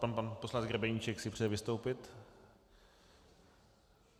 Pan poslanec Grebeníček si přeje vystoupit.